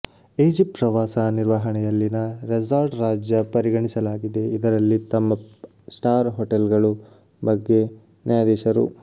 Egypt ಪ್ರವಾಸ ನಿರ್ವಹಣೆಯಲ್ಲಿನ resort ರಾಜ್ಯ ಪರಿಗಣಿಸಲಾಗಿದೆ ಇದರಲ್ಲಿ ತಮ್ಮ ಸ್ಟಾರ್ ಹೋಟೆಲ್ಗಳು ಬಗ್ಗೆ ನ್ಯಾಯಾಧೀಶರು